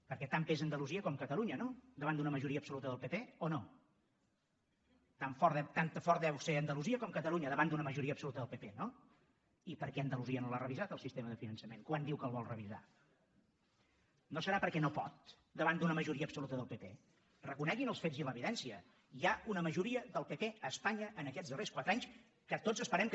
perquè tant pesa andalusia com catalunya no davant d’una majoria absoluta del pp o no tan forta deu ser andalusia com catalunya davant d’una majoria absoluta del pp no i per què andalusia no l’ha revisat el sistema de finançament quan diu que el vol revisar no deu ser perquè no pot davant d’una majoria absoluta del pp reconeguin els fets i l’evidència hi ha una majoria del pp a espanya en aquests darrers quatre anys que tots esperem que